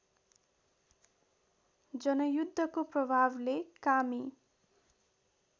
जनयुद्धको प्रभावले कामी